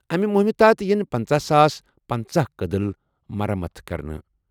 اَمہِ مُہِمہِ تحت یِن پٔنژٕہ ساس پنَژَہ کٔدٕل مرمت کرنہٕ۔